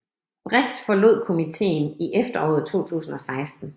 Brix forlod komiteen i efteråret 2016